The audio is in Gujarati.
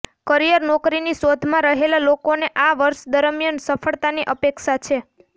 કરિયરઃ નોકરીની શોધમાં રહેલા લોકોને આ વર્ષ દરમિયાન સફળતાની અપેક્ષા છે